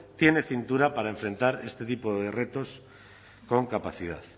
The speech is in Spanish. tiene cintura para enfrentar este tipo de retos con capacidad